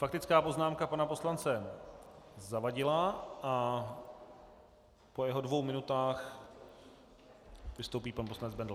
Faktická poznámka pana poslance Zavadila a po jeho dvou minutách vystoupí pan poslanec Bendl.